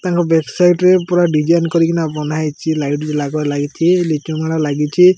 ତାଙ୍କ back side ରେ ପୁରା ଡିଜାଇନ୍ କରିକିନା ବନ୍ଧା ହେଇଚି ଲାଇଟ୍ ଲାଗ ଲାଗିଚି ଲିଚୁ ମାଳ ଲାଗିଚି।